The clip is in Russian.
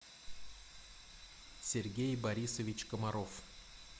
сергей борисович комаров